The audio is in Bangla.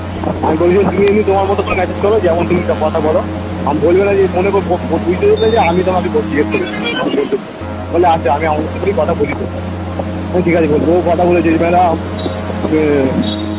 আমি তো তোমার মতো করে message করো যেমন তুমি তা কথা বলো আমি বলবেনা যে বুঝতেও পেরে যায় আমি তোমাকে জিগেস করেছি আমি কথা বলি তো ওর সাথে আমি ঠিক আছে ও কথা বলেছে উম